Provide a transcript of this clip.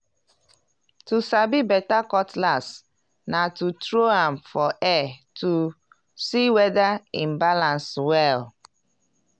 to sabi beta cutlass na to tro am for air to see weda e balans well.